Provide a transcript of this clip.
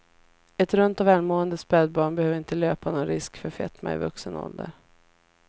Ett runt och välmående spädbarn behöver inte löpa någon risk för fetma i vuxen ålder.